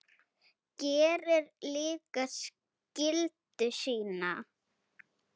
Gerir líka skyldu sína.